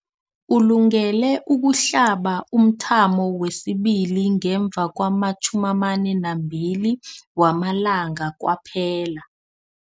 Ulungele ukuhlaba umthamo wesibili ngemva kwama-42 wamalanga kwaphela.